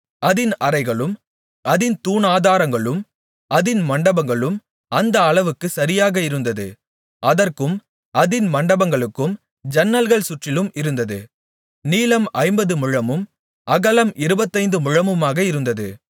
அதின் அறைகளும் அதின் தூணாதாரங்களும் அதின் மண்டபங்களும் அந்த அளவுகளுக்குச் சரியாக இருந்தது அதற்கும் அதின் மண்டபங்களுக்கும் ஜன்னல்கள் சுற்றிலும் இருந்தது நீளம் ஐம்பது முழமும் அகலம் இருபத்தைந்து முழமுமாக இருந்தது